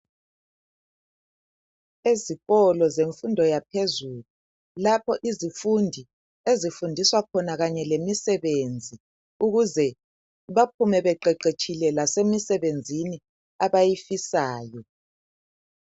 Ezikolo zemfundo yaphezulu lapho izifundi ezifundiswa khona kanye lemisebenzi ukuze baphume beqeqetshile lasemisebenzini abayifisayo